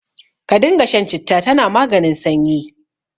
Ka dinga shan citta, tana maganin sanyi.